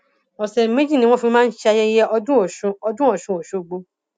ọsẹ méjì ni wọn fi máa ń ṣe ayẹyẹ ọdún ọsún ọdún ọsún ọṣọgbó